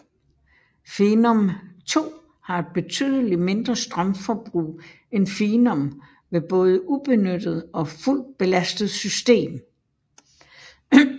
Phenom II har et betydeligt mindre strømforbrug end Phenom ved både ubenyttet og fuldt belastet system